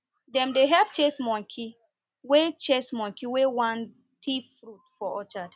dem dey help chase monkey wey chase monkey wey wan thief fruit for orchard